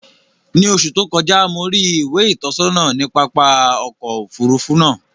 Ni oṣù tó kọjá, mo rí ìwé ìtọ́sọ́nà ní pápá ọkọ̀ Òfurufú náà